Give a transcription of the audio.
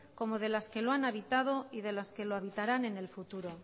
como de las que lo han habitado y de las que lo habitarán el fututo